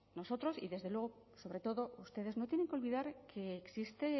nosotros y desde luego sobre todo ustedes no tienen que olvidar que existe